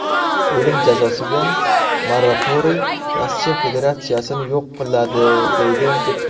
O‘lim jazosiga moratoriy Rossiya Federatsiyasini yo‘q qiladi”, deydi deputat.